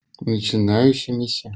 начинающимися